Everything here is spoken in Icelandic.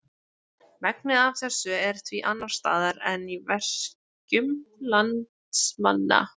Megnið af þessu er því annars staðar en í veskjum landsmanna.